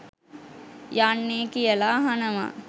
යන්නේ කියලා අහනවා.